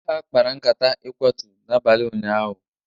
ndị agha kpara nkata ịkwatu n'abalị ụnyaahụ